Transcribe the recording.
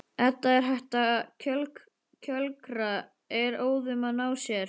Edda er hætt að kjökra, er óðum að ná sér.